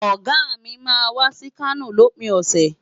Ọ̀gá mi máa wá sí Kano lópin ọ̀sẹ̀.